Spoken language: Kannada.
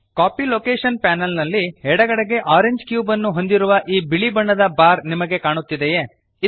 ಕಾಪೀ ಲೊಕೇಶನ್ ಪ್ಯಾನಲ್ ನಲ್ಲಿ ಎಡಗಡೆಗೆ ಆರೆಂಜ್ ಕ್ಯೂಬ್ ಅನ್ನು ಹೊಂದಿರುವ ಈ ಬಿಳಿ ಬಣ್ಣದ ಬಾರ್ ನಿಮಗೆ ಕಾಣುತ್ತಿದೆಯೇ160